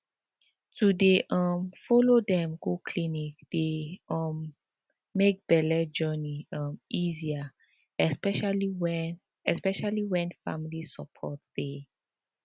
to dey um follow dem go clinic dey um make belle journey um easier especially when especially when family support dey